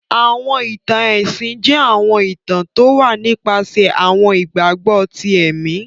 Àwọn ìtan-ẹ̀sin jẹ̀ àwọn ìtàn towà nipàsẹ̀ àwọn ìgbagbọ tì ẹ̀mì